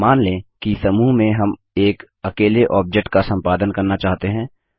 अब मान लें कि समूह में हम एक अकेले ऑब्जेक्ट का सम्पादन करना चाहते हैं